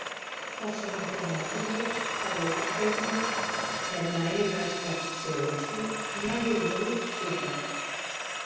Forsendur fyrir norðurljós á reikistjörnum eru nægilega sterkt segulsvið og nægilegur lofthjúpur.